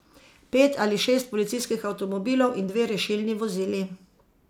Pet ali šest policijskih avtomobilov in dve rešilni vozili.